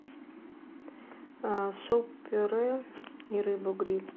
суп пюре и рыбу гриль